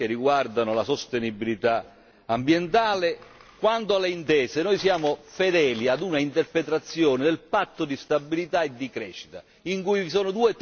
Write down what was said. Quanto alle intese, noi siamo fedeli ad una interpretazione del Patto di stabilità e di crescita in cui vi sono due termini la stabilità e la crescita.